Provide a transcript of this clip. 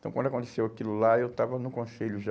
Então, quando aconteceu aquilo lá, eu estava no conselho já.